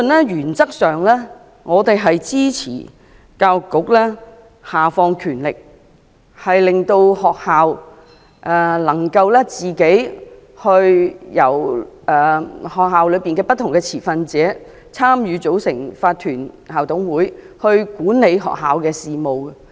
原則上，我們支持教育局下放權力，令學校能夠透過由校內不同持份者參與及組成的法團校董會自行管理學校的事務。